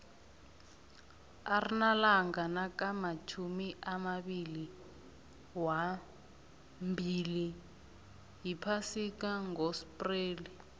arnalanga nakamatjhumi amabili wambili yiphasika ngoxpreli